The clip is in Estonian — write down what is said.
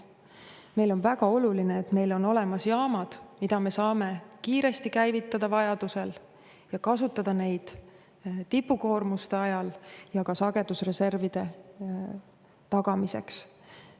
Meile on väga oluline, et meil on olemas jaamad, mida me saame vajadusel kiiresti käivitada ja kasutada neid tipukoormuste ajal ja ka sagedusreservide tagamiseks.